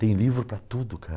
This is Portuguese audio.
Tem livro para tudo,